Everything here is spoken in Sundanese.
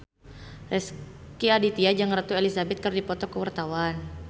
Rezky Aditya jeung Ratu Elizabeth keur dipoto ku wartawan